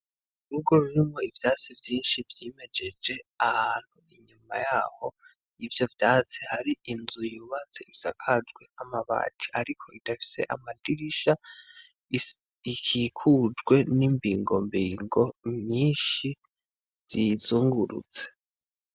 Urugo rurimwo ivyatsi vyinshi vyimejeje ahantu inyuma yaho yivyo vyatsi hari inzu yubatse isakajwe amabati ariko idafise amadirisha ikikujwe n'imbigombigo myinshi ziyizungurutse.